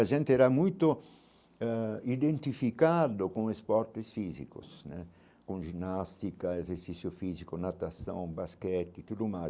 A gente era muito ãh identificado com esportes físicos né, com ginástica, exercício físico, natação, basquete, tudo mais.